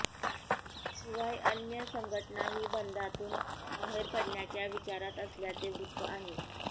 शिवाय अन्य संघटनाही बंदातून बाहेर पडण्याच्या विचारात असल्याचे वृत्त आहे